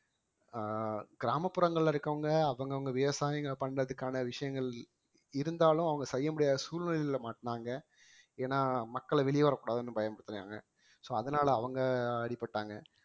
அஹ் கிராமப்புறங்கள்ல இருக்கவங்க அவங்கவங்க விவசாயிங்க பண்றதுக்கான விஷயங்கள் இருந்தாலும் அவங்க செய்ய முடியாத சூழ்நிலையில மாட்டுனாங்க ஏன்னா மக்களை வெளிய வரக்கூடாதுன்னு பயமுறுத்துனாங்க so அதனால அவங்க அடிபட்டாங்க